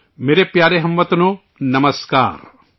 میرے پیارے ہم وطنوں، نمسکار!